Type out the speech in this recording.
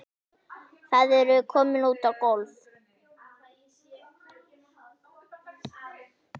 Þau eru komin út á gólf.